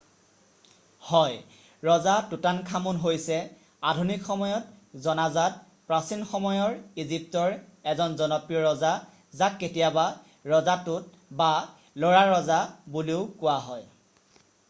হয় ৰজা টুটানখামুন হৈছে আধুনিক সময়ত জনাজাত প্ৰাচীন সময়ৰ ইজিপ্তৰ এজন জনপ্ৰিয় ৰজা যাক কেতিয়াবা ৰজা টুট বা ল'ৰাৰজা বুলিও কোৱা হয়